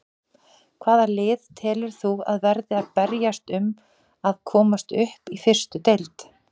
Hvaða lið telur þú að verði að berjast um að komast upp í fyrstu deild?